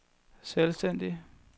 selvstændig